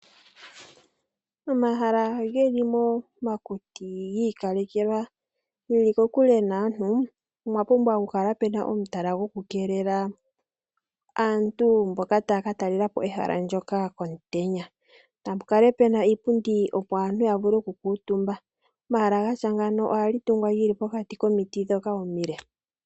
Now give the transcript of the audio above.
Omahala geli momakuti, giikalekelwa ge li kokule naantu, omwa pumvwa kukala muna omutala gwo ku keelela aantu mboka ta ya ka talelapobehala ndjoka omutenya. Napa kale pena iipundi opo aantu ya vulu oku kuutumba. Omahala ga tya ngino oha tungwa geli pokati komiti ndhoka omile.